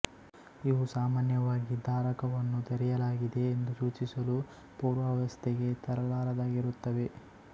ಇವು ಸಾಮಾನ್ಯವಾಗಿ ಧಾರಕವನ್ನು ತೆರೆಯಲಾಗಿದೆ ಎಂದು ಸೂಚಿಸಲು ಪೂರ್ವಾವಸ್ಥೆಗೆ ತರಲಾರದ್ದಾಗಿರುತ್ತವೆ